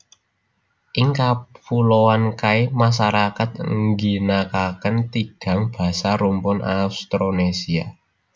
Ing Kapuloan Kai masarakat ngginakaken tigang basa rumpun Austronesia